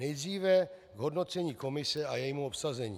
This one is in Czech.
Nejdříve k hodnocení komise a jejímu obsazení.